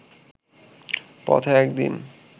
পথে একদিন